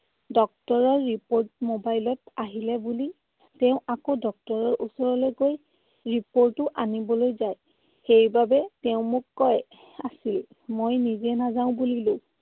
Doctor ৰ report mobile ত আহিলে বুলি তেওঁ আকৌ doctor ৰ ওচৰলৈ গৈ report ও আনিবলৈ যায়। সেইবাবে তেওঁ মোক কৈ আছিল। মই নিজেই নাযাওঁ বুলিলো।